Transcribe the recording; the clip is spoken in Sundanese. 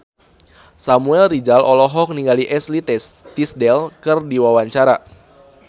Samuel Rizal olohok ningali Ashley Tisdale keur diwawancara